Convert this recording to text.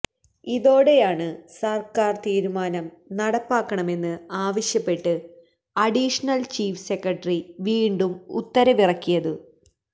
ഇതോടെയാണ് സര്ക്കാര് തീരുമാനം നടപ്പാക്കണമെന്ന് ആവശ്യപ്പെട്ട് അഡീഷണല് ചീഫ് സെക്രട്ടറി വീണ്ടും ഉത്തരവിറക്കിയത്